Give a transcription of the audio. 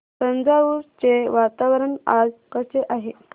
तंजावुर चे वातावरण आज कसे आहे